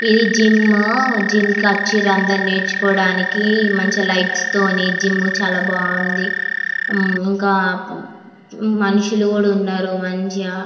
ఇది gym . Gym కి వచీర అందరు నేర్చుకోవడానికి మంచి లైట్స్ తోనే జిమ్ము చాలా బాగుంది. ఇంకా మనుషులు కూడ ఉన్నారు మంచిగా --